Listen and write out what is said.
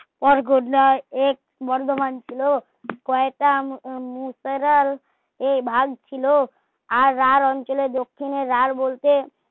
ওর গোবলাই এক্স বর্ধমান ছিলো শয়তান এ তাল এ ভাগ ছিলো আর রার অঞ্চলে দক্ষিণে রার বলতে